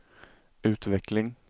utveckling